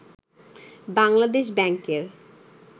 বাংলাদেশ ব্যাংকের